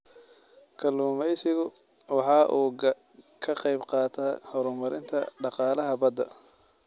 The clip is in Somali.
Kalluumaysigu waxa uu ka qayb qaataa horumarinta dhaqaalaha badda.